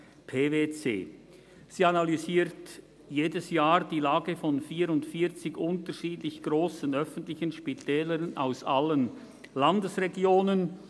PwC. Sie analysiert jedes Jahr die Lage von 44 unterschiedlich grossen öffentlichen Spitälern aus allen Landesregionen.